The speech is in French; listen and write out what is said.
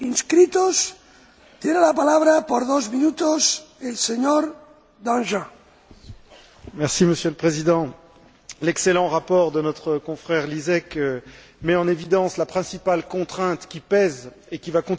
Monsieur le Président, l'excellent rapport de notre confrère Lisek met en évidence la principale contrainte qui pèse et qui va continuer de peser sur les efforts de défense nationaux et multilatéraux, c'est à dire la contrainte budgétaire.